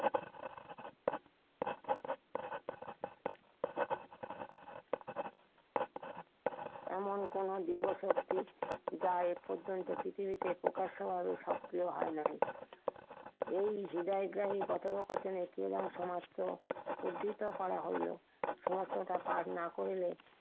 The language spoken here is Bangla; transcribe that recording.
এমন কোনো যুব শক্তি যা এ পর্যন্ত পৃথিবীতে প্রকাশ হওয়ারও স্বপ্ন হয় নাই। এই হৃদয়গ্রাহি কথোপকথনের দিনেও সমাপ্ত উদ্ধৃত করা হইলো। সিমান্তটা পার না করিলে কেউ